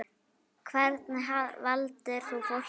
Hvernig valdir þú fólkið?